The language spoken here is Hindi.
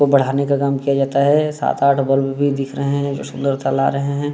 इसको बढ़ाने का काम किया जाता है सात आठ बल्ब दिख रहे है जो सुन्दरता ला रहे है।